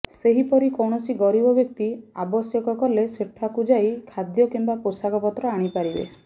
ସେହିପରି କୌଣସି ଗରିବ ବ୍ୟକ୍ତି ଆବଶ୍ୟକ କଲେ ସେଠାକୁ ଯାଇ ଖାଦ୍ୟ କିମ୍ବା ପୋଷାକପତ୍ର ଆଣିପାରିବେ